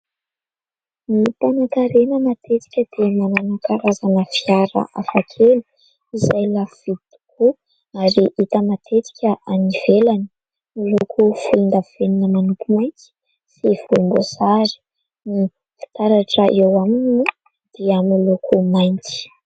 Ny mpanankarena matetika dia manana karazana fiara hafa kely, izay lafo vidy tokoa ary hita matetika any ivelany. Miloko volondavenona manopy mainty sy volomboasary ny fitaratra eo aminy dia miloko mainty.